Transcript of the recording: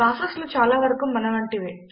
ప్రాసెస్లు చాలా వరకు మనవంటివే